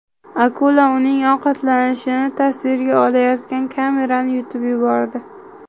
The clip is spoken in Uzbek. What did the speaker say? Akula uning ovqatlanishini tasvirga olayotgan kamerani yutib yubordi .